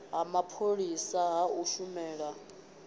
ha mapholisa ha u shumela